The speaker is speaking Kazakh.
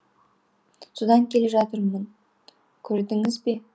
содан келе жатырмын көрдіңіз бе